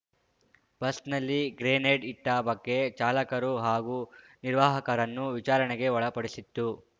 ಬಸ್‌ನಲ್ಲಿ ಗ್ರೆನೇಡ್ ಇಟ್ಟ ಬಗ್ಗೆ ಚಾಲಕರು ಹಾಗೂ ನಿರ್ವಾಹಕರನ್ನು ವಿಚಾರಣೆಗೆ ಒಳಪಡಿಸಿತ್ತು